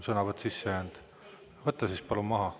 Sõnavõtt on sisse jäänud, võta siis palun maha.